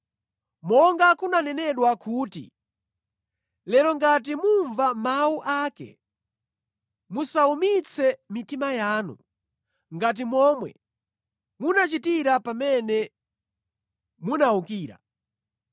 Monga kunanenedwa kuti, “Lero ngati mumva mawu ake, musawumitse mitima yanu ngati momwe munachitira pamene munawukira.”